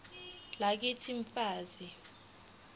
lakithi f manzi